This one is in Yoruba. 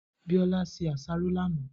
Biola se àsáró lánàá.